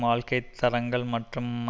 வாழ்க்கை தரங்கள் மற்றும்